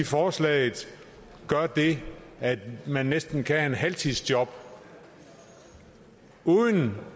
forslaget gør det at man næsten kan halvtidsjob uden